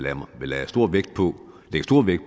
at han lagde stor vægt